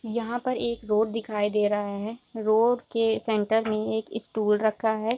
यहाँ पर एक रोड दिखाई दे रहा है रोड के सेंटर मे एक स्टूल रखा है ।